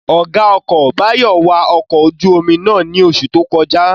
Ọ̀gá ọkọ̀ Báyọ̀ wa ọkọ̀ ojú-omi náà ní oṣù tó kọjá